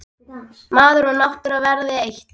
Maður og náttúra verða eitt.